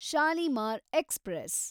Shalimar express